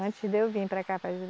Antes de eu vir para cá para